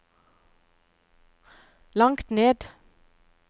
langt ned